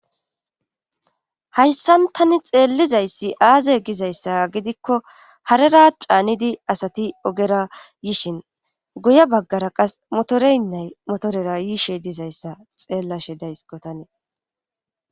hayssan tani xeellizayssi aaze gizayssa gidikko harera caanidi asati ogera yishin guye baggara qas motoreynnay motorera yiishe dizayssa xeellashe daysko tani